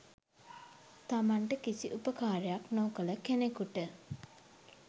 තමන්ට කිසි උපකාරයක් නොකළ කෙනකුට